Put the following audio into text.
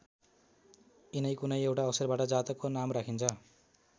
यिनै कुनै एउटा अक्षरबाट जातकको नाम राखिन्छ।